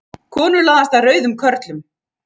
Konur laðast að rauðum körlum